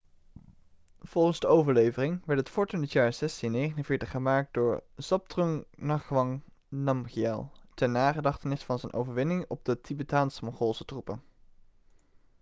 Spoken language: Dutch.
volgens de overlevering werd het fort in het jaar 1649 gemaakt door zhabdrung ngawang namgyel ter nagedachtenis van zijn overwinning op de tibetaans-mongoolse troepen